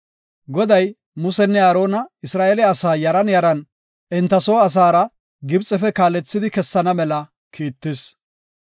Goday, Musenne Aarona Isra7eele asaa yaran yaran enta soo asaara Gibxefe kaalethidi kessana mela kiittis.